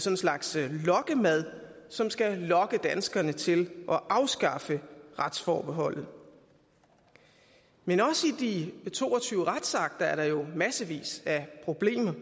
en slags lokkemad som skal lokke danskerne til at afskaffe retsforbeholdet men også i de to og tyve retsakter er der jo massevis af problemer